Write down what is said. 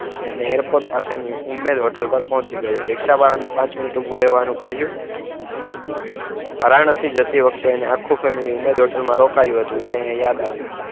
અને એરપોર્ટ પાસેની ઉમેદ હોટલ પર પહોંચી ગયો. રિક્ષા વાહનની પાંચ મિનિટ ઊભું રહેવાનું કહ્યું. વારાણસી જતી વખતે એનું આખું ફેમિલી ઉમેદ હોટલમાં રોકાયું હતું. એને એ યાદ આવ્યું.